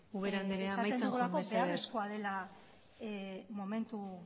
ubera andrea amaitzen joan mesedez esaten dugulako beharrezkoa dela